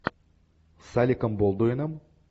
с алеком болдуином